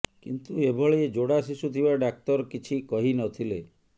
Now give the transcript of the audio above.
କିନ୍ତୁ ଏଭଳି ଯୋଡ଼ା ଶିଶୁ ଥିବା ଡାକ୍ତର କିଛି କହିନଥିଲେ